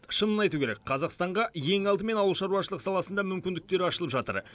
шынын айту керек қазақстанға ең алдымен ауылшаруашылық саласында мүмкіндіктер ашылып жатыр